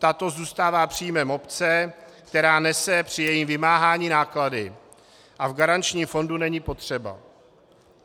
Tato zůstává příjmem obce, která nese při jejím vymáhání náklady, a v garančním fondu není potřeba.